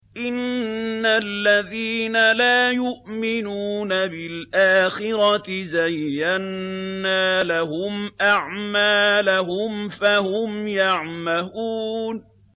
إِنَّ الَّذِينَ لَا يُؤْمِنُونَ بِالْآخِرَةِ زَيَّنَّا لَهُمْ أَعْمَالَهُمْ فَهُمْ يَعْمَهُونَ